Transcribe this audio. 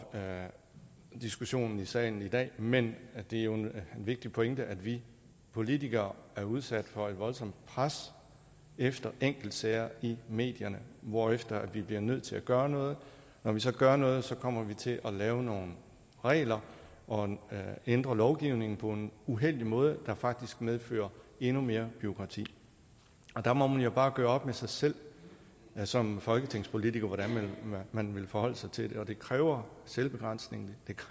diskussionen i salen i dag men det er jo en vigtig pointe at vi politikere er udsat for et voldsomt pres efter enkeltsager i medierne hvorefter vi bliver nødt til at gøre noget når vi så gør noget kommer vi til at lave nogle regler og ændre lovgivningen på en uheldig måde der faktisk medfører endnu mere bureaukrati der må man jo bare gøre op med sig selv som folketingspolitiker hvordan man vil forholde sig til det og det kræver selvbegrænsning